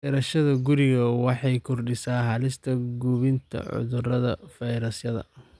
Beerashada gurigu waxay kordhisaa halista gudbinta cudurrada fayrasyada.